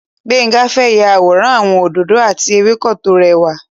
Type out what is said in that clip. Gbénga fẹ́ ya àwòrán àwọn òdòdó àti ewéko tó rẹwà.